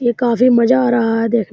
ये काफी मज़ा आ रहा देख --